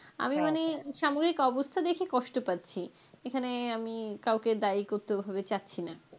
আমি মানে সাময়িক অবস্থা দেখে কষ্ট পাচ্ছি এখানে আমি কাউকে দায়ী করতে ওভাবে চাচ্ছি না.